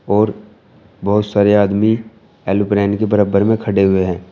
और बहुत सारे आदमी एरोप्लेन के बराबर में खड़े हुए हैं।